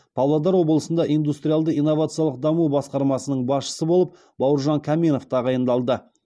павлодар облысында индустриалды инновациялық даму басқармасының басшысы болып бауыржан қаменов тағайындалды